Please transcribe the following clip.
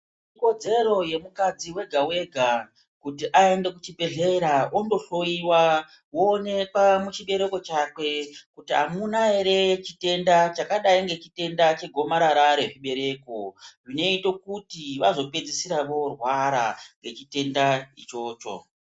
Ikodzero yemukadzi wega kuti aende kuchibhedhlera ando hloyiwa oonekwa muchibereko chakwe kuti hakuna here chitenda chakadai ngechitenda chegomarara rechibereko chinoita kuti vzopedzisra varwara ngechitenda ichocho.